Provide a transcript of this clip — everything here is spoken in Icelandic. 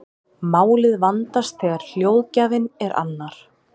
Málið vandast þegar hljóðgjafinn er annar.